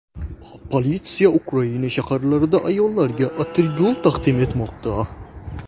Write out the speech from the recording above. Politsiya Ukraina shaharlarida ayollarga atirgul taqdim etmoqda.